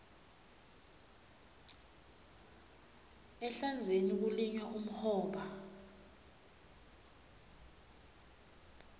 ehlandzeni kulinywa umhoba